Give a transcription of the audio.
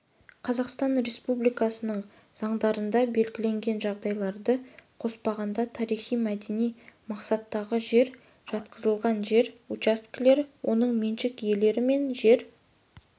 қазақстан республикасының заңдарында белгіленген жағдайларды қоспағанда тарихи-мәдени мақсаттағы жерге жатқызылған жер учаскелер оның меншік иелері мен жер